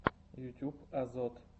ютуб азот